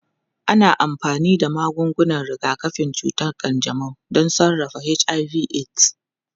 Ana amfani da magungunan rigakafin cutar kanjamau don sarrafa HIV/AIDS.